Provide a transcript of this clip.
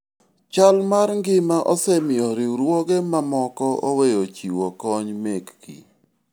chal mar ngima osemiyo riwruoge mamoko oweyo chiwo kony mekgi